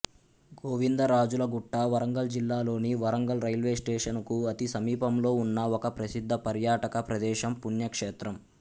గోవిందరాజుల గుట్ట వరంగల్ జిల్లా లోని వరంగల్ రైల్వేస్టేషనుకు అతి సమీపంలో ఉన్న ఒక ప్రసిద్ధ పర్యాటక ప్రదేశం పుణ్యక్షేత్రం